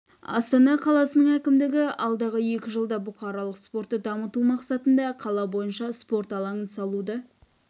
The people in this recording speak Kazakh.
астана қаласының әкімдігі алдағы екі жылда бұқаралық спортты дамыту мақсатында қала бойынша спорт алаңын салуды